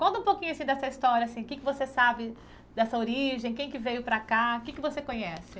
Conta um pouquinho assim dessa história, assim, o que você sabe dessa origem, quem que veio para cá, o que você conhece?